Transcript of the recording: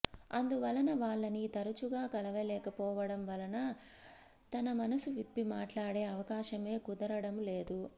అందువలన వాళ్ళనీ తరచుగా కలవలేకపోవడము వలన తన మనసువిప్పి మాట్లాడే అవకాశమే కుదరడము లేదు